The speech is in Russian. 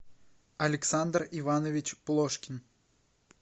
александр иванович плошкин